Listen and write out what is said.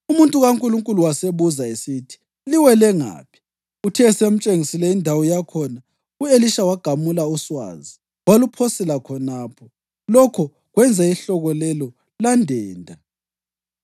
Umuntu kaNkulunkulu wasebuza esithi, “Liwele ngaphi?” Uthe esemtshengisile indawo yakhona, u-Elisha wagamula uswazi waluphosela khonapho, lokho kwenza ihloka lelo landenda.